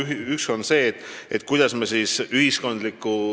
Esiteks, teadlikkuse tõstmine ühiskonnas.